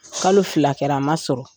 Kalo fila kɛra a ma sɔrɔ.